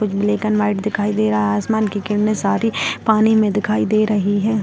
कुछ black and white दिखाई दे रहा है आसमान की किरणें सारी पानी में दिखाई दे रही हैं।